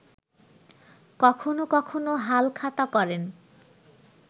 কখনো কখনো হালখাতা করেন